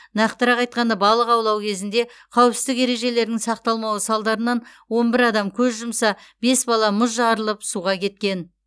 нақтырақ айтқанда балық аулау кезінде қауіпсіздік ережелерінің сақталмауы салдарынан он бір адам көз жұмса бес бала мұз жарылып суға кеткен